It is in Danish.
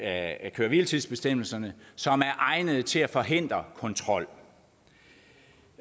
af køre hvile tids bestemmelserne som er egnede til at forhindre kontrol